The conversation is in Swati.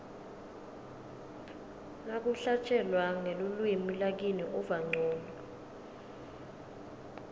nakuhlatjelwa ngelulwimi lakini uva ncono